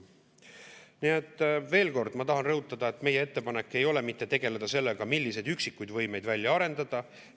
Nii et veel kord ma tahan rõhutada, et meie ettepanek ei ole mitte tegeleda sellega, milliseid üksikuid võimeid välja arendada.